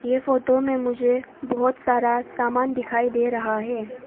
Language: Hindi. ये फोटो में मुझे बहोत सारा सामान दिखाई दे रहा है।